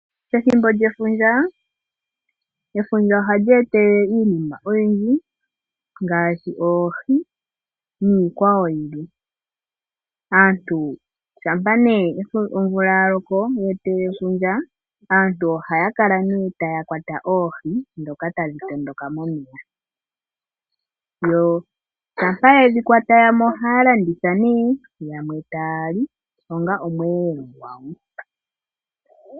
Pethimbo lyefundja efundja ohali etelele iinima oyindji ngaashi oohi niikwawo yilwe . Aantu shampa nee omvula yaloko yewete efundja ,aantu ohaya kala nee taya kwata oohi ndhoka tadhi matuka momeya . Shampa yedhikwata yamwe ohaya landitha nee yo yamwe tayali onga omweelelo gwawo.